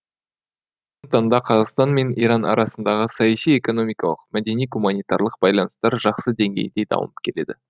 таңда қазақстан мен иран арасындағы саяси экономикалық мәдени гуманитарлық байланыстар жақсы деңгейде дамып келеді